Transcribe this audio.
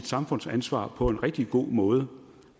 samfundsansvar på en rigtig god måde